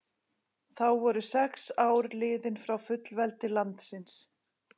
Þá voru sex ár liðin frá fullveldi landsins.